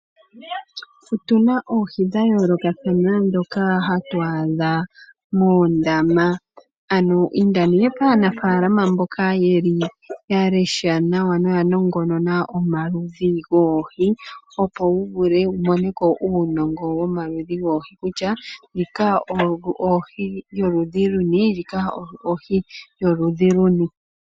Otuna oohi dhayoolokathana ndhoka hatu adha moondama , ano inda kaanafaalama mbyoka ya lesha noya nongonona omaludhi goohi opo wuvule wumoneko uunongo womaludhi goohi , opo wutseye kutya ohi yoludhi luni naandjika ohi yoludhi luni.